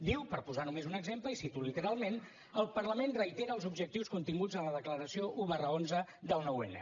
diu per posar només un exemple i cito literalment el parlament reitera els objectius continguts en la declaració un xi del nou n